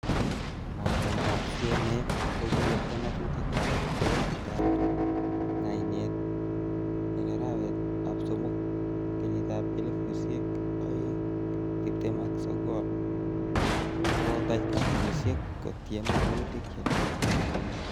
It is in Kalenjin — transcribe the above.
Mornetab CMA, kokiyabta ngatutik ab bokisitab ngainet en arawetab somok, kenyitab elfusiek oeng tibtem ak sogol ko kotach kompunisiek kotiem woluutik che lelach.